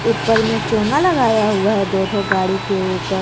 ऊपर में चोंगा लगाया हुआ है दो ठो गाड़ी के ऊपर--